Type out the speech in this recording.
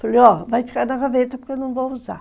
Falei, ó, vai ficar na gaveta porque eu não vou usar.